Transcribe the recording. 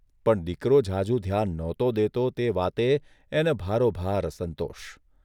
પણ દીકરો ઝાઝુ ધ્યાન નહોતો દેતો તે વાતે એને ભારોભાર અસંતોષ.